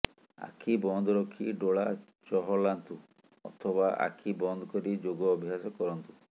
ଆଖି ବନ୍ଦ ରଖି ଡୋଲା ଚହଲାନ୍ତୁ ଅଥବା ଆଖି ବନ୍ଦ କରି ଯୋଗ ଅଭ୍ୟାସ କରନ୍ତୁ